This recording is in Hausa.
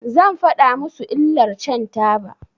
Zan faɗa musu illar shan taba.